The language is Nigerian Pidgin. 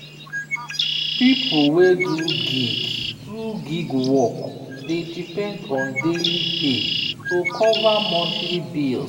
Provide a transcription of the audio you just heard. people wey do gig do gig work dey depend on daily pay to cover monthly bills.